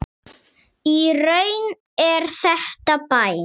Í raun er þetta bæn.